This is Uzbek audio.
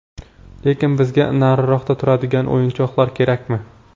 Lekin bizga nariroqda turadigan o‘yinchilar kerakmi?